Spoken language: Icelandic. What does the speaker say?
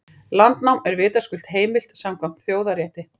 Landnám er vitaskuld heimilt samkvæmt þjóðarétti.